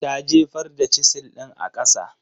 Ta jefar da Chisel ɗin a kasa.